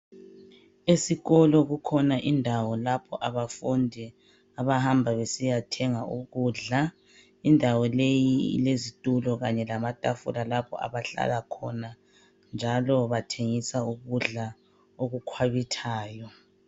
Esikolo kukhona indawo lapho abafundi abahamba besiya thenga ukudla. Indawo leyi ilezitulo kanye lama tafula lapho abahlala khona. Njalo bathengisa ukudla okukhwabithayo.